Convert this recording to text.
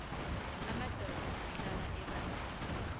amadoda ahlala ebandla